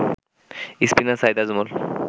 spinner Saeed Ajmal